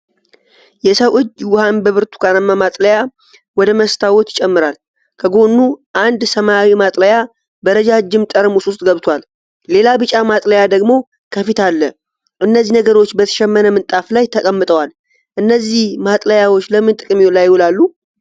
የሰው እጅ ውሃን በብርቱካናማ ማጥለያ ወደ መስታወት ይጨምራል። ከጎኑ አንድ ሰማያዊ ማጥለያ በረጃጅም ጠርሙስ ውስጥ ገብቷል፤ ሌላ ቢጫ ማጥለያ ደግሞ ከፊት አለ። እነዚህ ነገሮች በተሸመነ ምንጣፍ ላይ ተቀምጠዋል። እነዚህ ማጥለያዎች ለምን ጥቅም ላይ ይውላሉ?